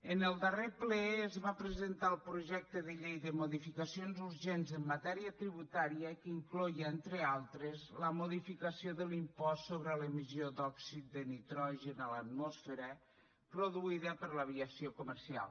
en el darrer ple es va presentar el projecte de llei de modificacions urgents en matèria tributària que incloïa entre altres la modificació de l’impost sobre l’emissió d’òxid de nitrogen a l’atmosfera produïda per l’aviació comercial